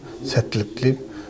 сәттілік тілеймін